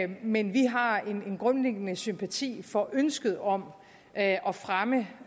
men vi har en grundlæggende sympati for ønsket om at at fremme